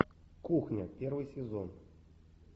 кухня первый сезон